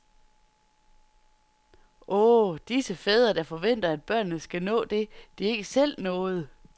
Åh, disse fædre, der forventer at børnene skal nå det, de ikke selv nåede.